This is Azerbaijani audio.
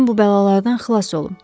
Bütün bu bəlalardan xilas olum.